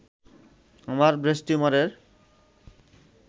আমার ব্রেস্ট টিউমারের